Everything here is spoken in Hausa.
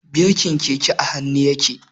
Birkin keke a hannu yake.